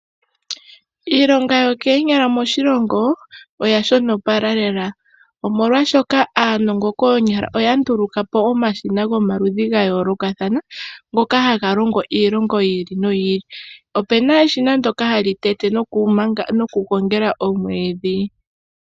Iilonga yokoonyala moshilongo oya shonopola lela, omolwaashoka aanongo koonyala oya nduluka po omashina gomaludhi ga yoolokathana ngoka haga longo iilonga yi ili noyi ili. Opu na eshina ndoka hali tete nokugongela omwiidhi.